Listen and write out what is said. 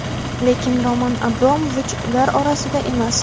Lekin Roman Abromovich ular orasida emas.